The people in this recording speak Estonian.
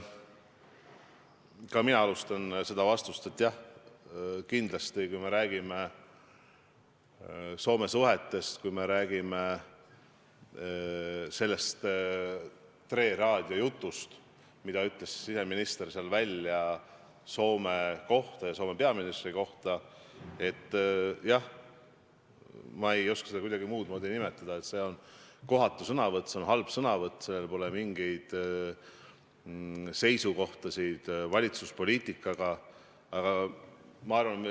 Ka mina alustan vastust sellest, et jah, kindlasti, kui me räägime suhetest Soomega, kui me räägime sellest, mida ütles siseminister Tre Raadios Soome ja Soome peaministri kohta, siis ma ei oska seda kuidagi muud moodi nimetada, kui et see oli kohatu sõnavõtt, see oli halb sõnavõtt, seal polnud mingeid valitsuspoliitikaga kattuvaid seisukohti.